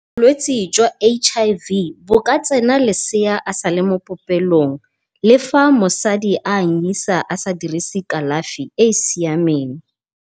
Bolwetse jwa H_I_V bo ka tsena lesea a sale mo popelong, le fa mosadi a anyisa a sa dirise kalafi e e siameng.